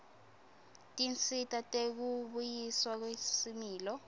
tinsita tekubuyiswa kwesimilo